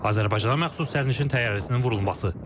Azərbaycana məxsus sərnişin təyyarəsinin vurulması.